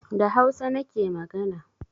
Da hausa nake magana